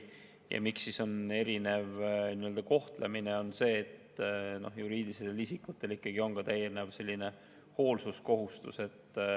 Ja põhjus, miks on erinev kohtlemine, on see, et juriidilistel isikutel on täiendav hoolsuskohustus.